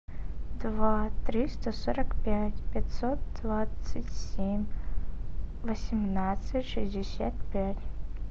два триста сорок пять пятьсот двадцать семь восемнадцать шестьдесят пять